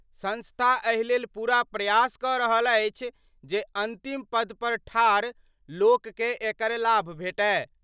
संस्था एहि लेल पूरा प्रयास क रहल अछि जे अंतिम पद पर ठाढ़ लोक कए एकर लाभ भेटय।